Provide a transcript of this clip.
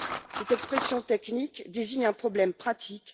Cette expression technique désigne un problème pratique.